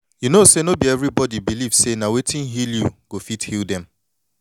you know say no be everybody believe say na wetin heal you go fit heal dem